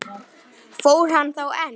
Fór hann þá einn?